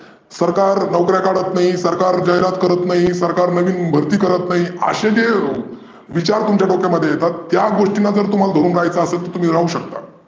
सरकार नोकर्या काढत नाही, सरकार जाहिरात करत नाही, सरकार नविन भर्ती करत नाही आशे जे विचार तुमच्या डोक्यामध्ये येतात जर त्या गोष्टींना तुम्हाला धरून रहायचं असेल तुम्ही जाऊ शकता.